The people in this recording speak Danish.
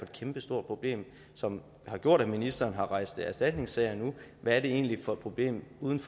kæmpestort problem som har gjort at ministeren har rejst erstatningssager nu hvad er det egentlig for et problem uden for